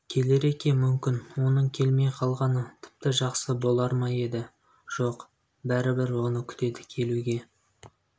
келер екен мүмкін оның келмей қалғаны тіпті жақсы болар ма еді жоқ бәрібір оны күтеді келуге